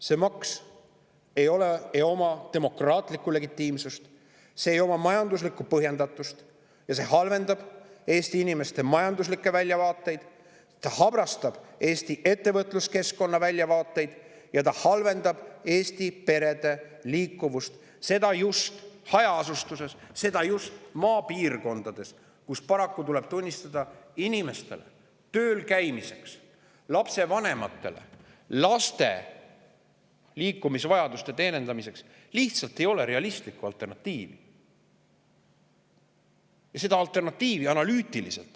See maks ei oma demokraatlikku legitiimsust, see ei oma majanduslikku põhjendatust ja see halvendab Eesti inimeste majanduslikke väljavaateid, see habrastab Eesti ettevõtluskeskkonna väljavaateid ja halvendab Eesti perede liikuvust, seda just hajaasustuses, just maapiirkondades, kus paraku – tuleb tunnistada – ei ole inimestel tööl käimiseks ja lapsevanematel laste liikumisvajaduste teenindamiseks realistlikku alternatiivi.